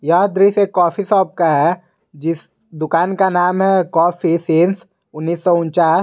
यह दृश्य एक कॉफी शॉप का है जिस दुकान का नाम है कॉफी सिंस उन्नीस सौ ऊंचास।